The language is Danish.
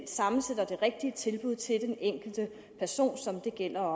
sammensætter det rigtige tilbud til den enkelte person som det gælder